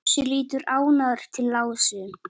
Bjössi lítur ánægður til Ásu.